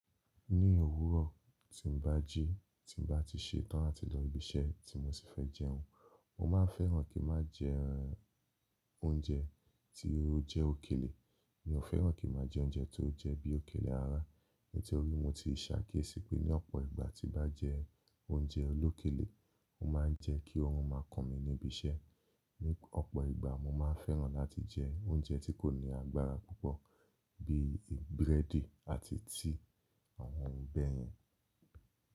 Ní òwúrọ̀ tí n bá jí, tí n bá ti se tán àti lọ ibi iṣẹ́ tí mo sì fẹ́ jẹun, mo ma ń fẹ́ràn kí n má jẹ oúnjẹ tí ó jẹ́ òkèlè. Mi ò fẹ́ràn kí n má jẹ oúnjẹ tó jẹ́ bí òkèlè rara. Nítorí mo ti ṣákíyèsí pé ní ọ̀pọ̀ ìgbà tí n bá jẹ oúnjẹ olókèlé, ó ma ń jẹ́ kí oorùn máa kun mi níbi iṣẹ́. Ní ọ̀pọ̀ ìgbà mo ma ń fẹ́ràn láti jẹ oúnjẹ tí kò ní agbára púpọ̀ bí i búrẹ́dì àti tí àwọn ohun bẹ́ẹ̀ yẹn.